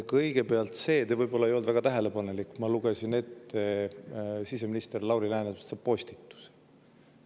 Kõigepealt sellest – te võib-olla ei olnud väga tähelepanelik –, et ma lugesin ette siseminister Lauri Läänemetsa postituse.